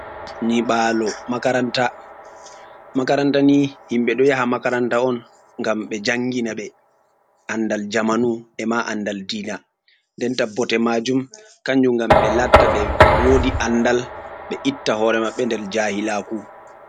Nyi ɓalo makaranta makaranta ni himɓe ɗo yaha makaranta on gam ɓe jangina ɓe andal jamanu, e ma andal diina nden ta bote majum, kanjum gam ɓe latta ɓe wodi andal, ɓe itta hore maɓɓe nder jahilaku.